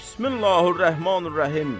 Bismilləhir-Rəhmanir-Rəhim.